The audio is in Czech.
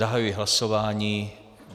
Zahajuji hlasování.